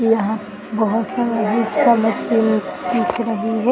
यहाँ बहुत सारा अजीब सा बेसमेंट दिख रही है।